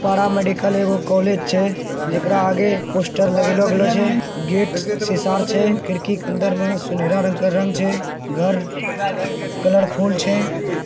बड़ा medical college छे। इसका आगे पोस्टर लगेलो गेलो छे। गेट शीशा र छे। खिड़की क अंदर म सोनेरा रंग के रंग छे। घर कलर फूल छे।